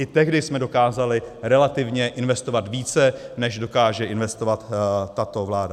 I tehdy jsme dokázali relativně investovat více, než dokáže investovat tato vláda.